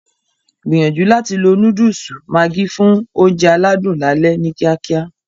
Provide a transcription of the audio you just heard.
Gbìyànjú láti lo Núdùùsù Maggi fún oúnjẹ aládùn lálẹ́ ni kíákíá